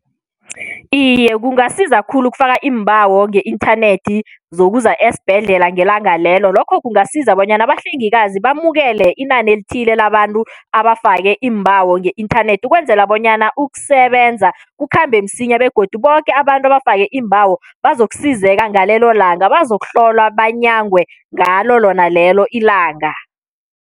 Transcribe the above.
Iye, kungasiza khulu ukufaka iimbawo nge-inthanethi zokuza esibhedlela ngelanga lelo. Lokho kungasiza bonyana abahlengikazi bamukele inani elithile labantu abafake iimbawo nge-inthanethi ukwenzela bonyana ukusebenza kukhambe msinya begodu boke abantu abafake iimbawo bazokusizeka ngalelo langa, bazokuhlolwa, banyangwe ngalo lona lelo ilanga.